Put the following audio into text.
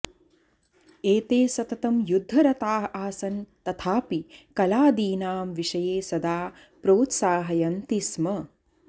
एते सततम् युद्धरताः आसन् तथापि कलादीनां विषये सदा प्रोत्साहयन्ति स्म